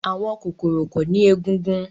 àwọn kokoro ko ni egungun